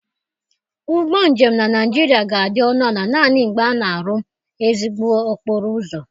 Ụgbọ njem na Naịjiria ga-adị ọnụ ala naanị mgbe a na-arụ ezigbo okporo ụzọ.